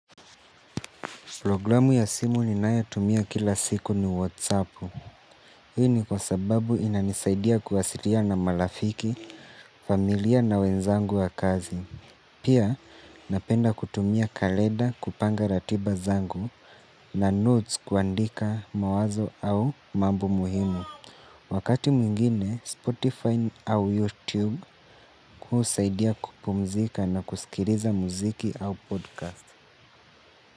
Programu ya simu ni nayo tumia kila siku ni Whatsappu. Hini kwa sababu ina nisaidia kuwasiria na malafiki, familia na wenzangu wa kazi. Pia napenda kutumia kaleda kupanga ratiba zangu na notes kuandika mawazo au mambo muhimu. Wakati mwingine Spotify au YouTube husaidia kupumzika na kusikiriza muziki au podcast.